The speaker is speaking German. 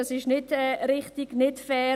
Dies ist nicht richtig, nicht fair.